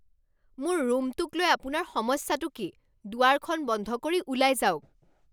মোৰ ৰুমটোক লৈ আপোনাৰ সমস্যাটো কি? দুৱাৰখন বন্ধ কৰি ওলাই যাওক।